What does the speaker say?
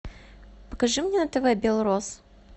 покажи мне на тв белрос